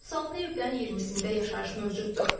36 evdən 20-sində yaşayış mövcuddur.